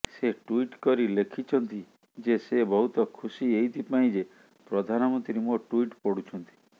ସେ ଟ୍ୱିଟ୍ କରି ଲେଖିଛନ୍ତି ଯେ ସେ ବହୁତ ଖୁସି ଏଇଥିପାଇଁ ଯେ ପ୍ରଧାନମନ୍ତ୍ରୀ ମୋ ଟ୍ୱିଟ୍ ପଢୁଛନ୍ତି